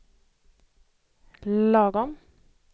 lagom